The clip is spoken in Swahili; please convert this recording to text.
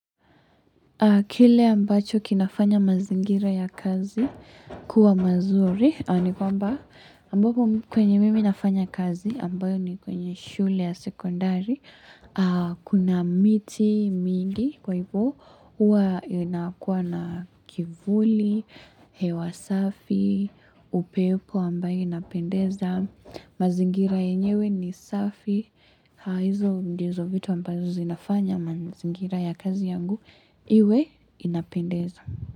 Kile ambacho kinafanya mazingira ya kazi, kuwa mazuri, ni kwamba, ambapo kwenye mimi nafanya kazi, ambayo ni kwenye shule ya sekondari, kuna miti, mingi, kwa hivyo, huwa inakuwa na kivuli, hewa safi, upepo ambayo inapendeza, mazingira yenyewe ni safi, Ha hizo ndizo vitu ambazo zinafanya manzingira ya kazi yangu Iwe inapendeza.